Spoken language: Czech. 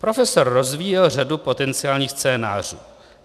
Profesor rozvíjel řadu potenciálních scénářů.